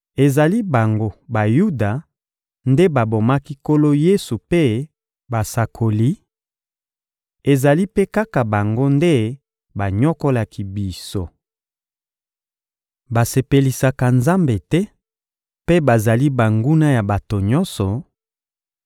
Ezali bango Bayuda nde babomaki Nkolo Yesu mpe basakoli; ezali mpe kaka bango nde banyokolaki biso. Basepelisaka Nzambe te mpe bazali banguna ya bato nyonso;